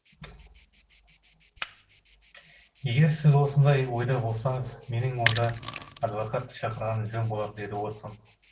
егер сіз осындай ойда болсаңыз менің онда адвокат шақырғаным жөн болар деді уотсон